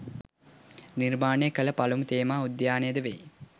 නිර්මාණය කළ පළමු තේමා උද්‍යානය ද වෙයි